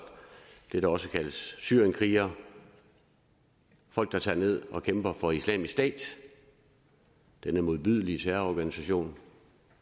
det der også kaldes syrienskrigere folk der tager ned og kæmper for islamisk stat denne modbydelige terrororganisation